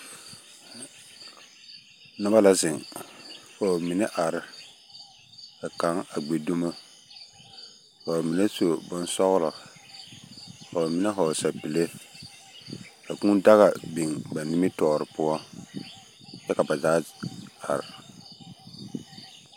Noba la zeŋ, ka ba mine a gbi dumo, ka ba mine su bonsɔglɔ, ka ba mine hɔɔl sapile, ka kūū daga biŋ ba nimmitɔɔre poɔ kyɛ ka ba zaa are.